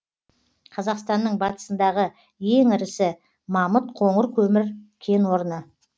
қазақстанның батысындағы ең ірісі мамыт қоңыр көмір кен орны